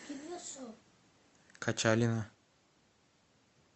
качалина